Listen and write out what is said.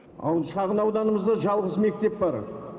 ал шағын ауданымызда жалғыз мектеп бар